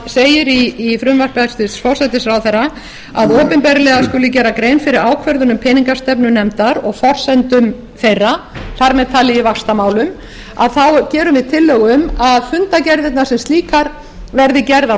segir í frumvarpi hæstvirts forsætisráðherra að opinberlega skuli gerð grein fyrir ákvörðunum peningastefnunefndar og forsendum þeirra þar með talið í vaxtamálum þá gerum við tillögu um að fundargerðirnar sem slíkar verði gerðar